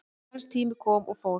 Hans tími kom og fór